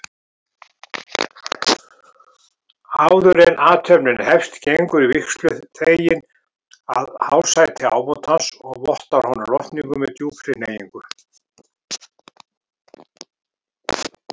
Áðuren athöfnin hefst gengur vígsluþeginn að hásæti ábótans og vottar honum lotningu með djúpri hneigingu.